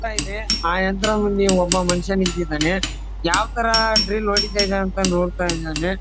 ಯಂತ್ರ ಇದೆ ಆ ಯಂತ್ರ ಮುಂದೆ ಒಬ್ಬ ಮುನುಷ್ಯ ನಿಂತಿದ್ದಾನೆ ಯಾವ್ ತರ ಡ್ರಿಲ್ಲ್ ಹೊಡಿತ ಇದಾರೆ ಅಂತ ನೋಡ್ತಾ ಇದಾನೆ.